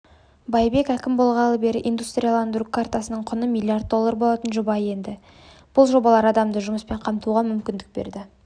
байбек әкім болғалы бері индустрияландыру картасына құны млрд доллар болатын жоба енді бұл жобалар адамды жұмыспен қамтуға мүмкіндік берді